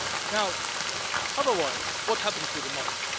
Now otherwise, what happens with the money?